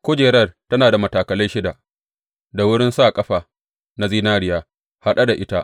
Kujerar tana da matakalai shida, da wurin sa ƙafa na zinariya haɗe da ita.